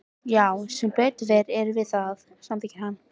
Já sem betur fer erum við það, samþykkir hann.